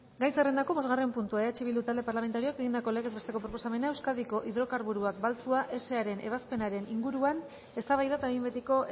gai zerrendako bosgarren puntua eh bildu talde parlamentarioak egindako legez besteko proposamena euskadiko hidrokarburoak baltzua saren ezabapenaren inguruan eztabaida eta behin betiko